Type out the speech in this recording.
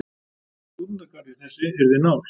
Stúdentagarður þessi yrði nál.